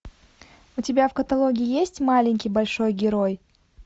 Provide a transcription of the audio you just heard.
у тебя в каталоге есть маленький большой герой